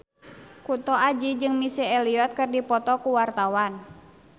Kunto Aji jeung Missy Elliott keur dipoto ku wartawan